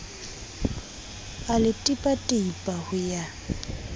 a le tipatipa ho ya